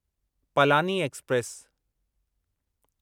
Palani express